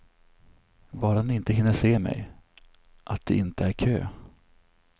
Bara den inte hinner se mig, att det inte är kö.